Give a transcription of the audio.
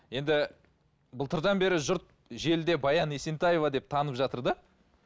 енді былтырдан бері жұрт желіде баян есентаева деп танып жатыр да